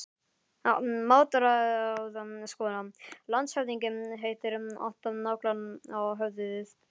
MATRÁÐSKONA: Landshöfðingi hittir alltaf naglann á höfuðið.